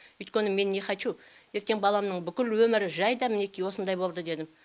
өйткені мен нехочу ертең баламның бүкіл өмірі жайда мінекей осындай болды дедім